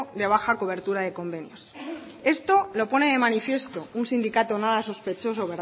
de baja cobertura de convenios esto lo pone de manifiesto un sindicato nada sospechoso